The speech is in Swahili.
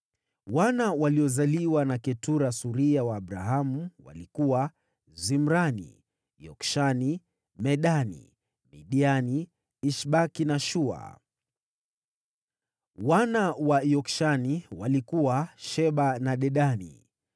Wana waliozaliwa na Ketura suria wa Abrahamu walikuwa: Zimrani, Yokshani, Medani, Midiani, Ishbaki na Shua. Wana wa Yokshani walikuwa: Sheba na Dedani.